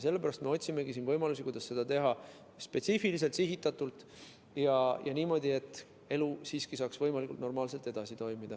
Sellepärast me otsimegi võimalusi, kuidas seda teha spetsiifiliselt, sihitatult ja niimoodi, et elu saaks võimalikult normaalselt edasi toimida.